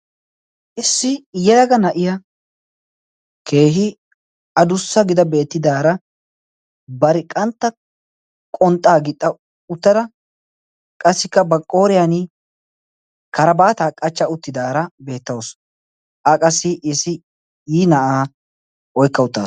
issi yelaga na7iya keehi adussa gida beettidaara bariqqantta qonxxaa gixxa uttada qassikka ba qooriyan kara baataa qachcha uttidaara beettausu a qassi issi qii na7aa oikka utta